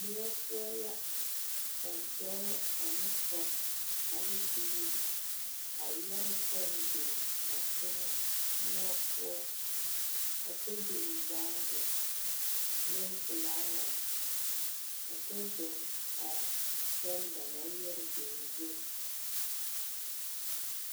Moɔ poɔ la ka dɔɔ ane poɔ ane biiri yɛre pɛn beŋ teŋɛ moɔ poɔ a kyɛ biŋ baage ne filaaware a kyɛ ziŋ a pɛn ba naŋ yɛre biŋ zu.